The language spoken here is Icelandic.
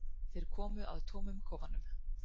Þeir koma að tómum kofanum?